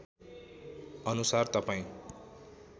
अनुसार तपाईँ